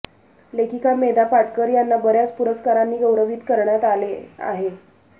लेखिका मेधा पाटकर यांना बऱ्याच पुरस्कारांनी गौरविण्याात आले आहे